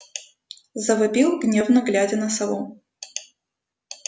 завопил гневно глядя на сову